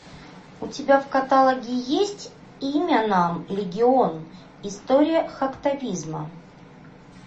у тебя в каталоге есть имя нам легион история хактивизма